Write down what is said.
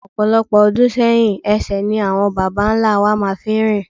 Ọ̀pọ̀lọpọ̀ ọdún sẹ́yìn ẹsẹ̀ ni àwọn babá ńlá wa máa fi ń rìn.